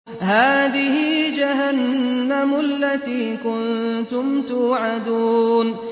هَٰذِهِ جَهَنَّمُ الَّتِي كُنتُمْ تُوعَدُونَ